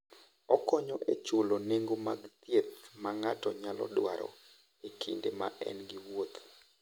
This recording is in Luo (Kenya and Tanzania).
Okonyo e chulo nengo mag thieth ma ng'ato nyalo dwaro e kinde ma en e wuoth.